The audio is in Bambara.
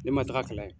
Ne ma taga kalan ye